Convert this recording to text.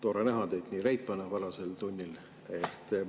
Tore on näha teid nii reipana varasel tunnil.